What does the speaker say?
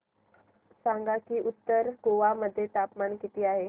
सांगा की उत्तर गोवा मध्ये तापमान किती आहे